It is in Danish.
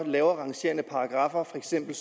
lavere rangerende paragraffer for eksempel